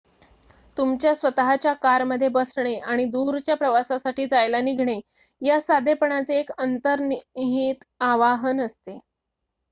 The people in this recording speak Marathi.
तुमच्या स्वत:च्या कारमध्ये बसणे आणि दूरच्या प्रवासासाठी जायला निघणे यास साधेपणाचे एक अंतर्निहित आवाहन असते